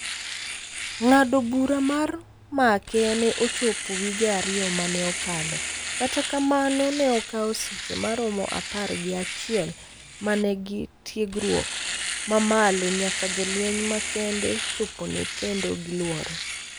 ng'ado bura mar make ne ochopo wige ariyo maneokalo kata kamano ne okao seche ma romo apar gi achiel ma nengi tiegruok ma malo nyaka jolweny ma kende chopone kendo giluore